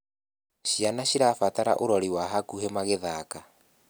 Ciana cirabatara ũrori wa hakuhi magithaka